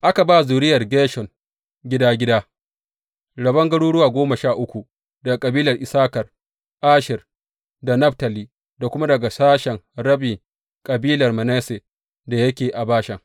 Aka ba zuriyar Gershom, gida gida, rabon garuruwa goma sha uku daga kabilan Issakar, Asher da Naftali, da kuma daga sashen rabi kabilar Manasse da yake a Bashan.